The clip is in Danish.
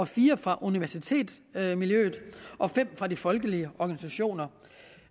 fire fra universitetsmiljøet og fem fra folkelige organisationer